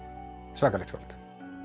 svakalegt skáld